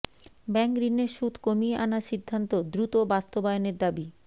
bank ঋণের সুদ কমিয়ে আনার সিদ্ধান্ত দ্রুত বাস্তবায়নের দাবি